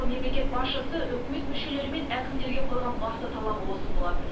мемлекет басшысы үкімет мүшелері мен әкімдерге қойған басты талабы осы болатын